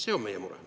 See on meie mure.